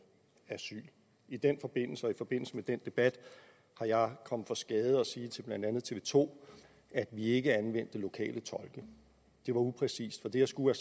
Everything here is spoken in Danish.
asyl i den forbindelse og i forbindelse med den debat er jeg kommet for skade at sige til blandt andet tv to at vi ikke anvendte lokale tolke det var upræcist for det jeg skulle